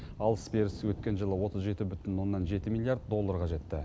алыс беріс өткен жылы отыз жеті бүтін оннан жеті миллиард долларға жетті